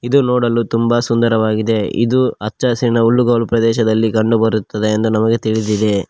ಇದು ನೋಡಲು ತುಂಬ ಸುಂದರವಾಗಿದೆ ಇದು ಹಚ್ಚ ಹಸಿರಿನ ಹುಲ್ಲುಗಾವಲು ಪ್ರದೇಶದಲ್ಲಿ ಕಂಡು ಬರುತ್ತದೆ ಎಂದು ನಮಗೆ ತಿಳಿದಿದೆ.